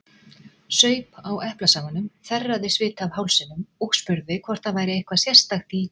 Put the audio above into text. Saup á eplasafanum, þerraði svita af hálsinum og spurði hvort það væri eitthvað sérstakt í